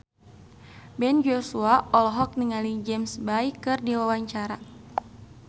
Ben Joshua olohok ningali James Bay keur diwawancara